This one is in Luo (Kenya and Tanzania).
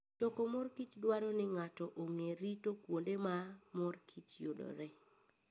Choko mor kich dwaro ni ng'ato ong'e rito kuonde ma mor kich yudoree.